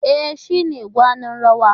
E, shi ne gwanin rawar.